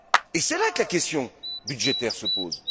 Et c'est là que la question budgétaire se pose.